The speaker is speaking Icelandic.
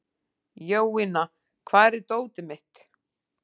Jovina, hvar er dótið mitt?